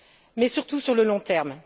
mais surtout sur le long terme.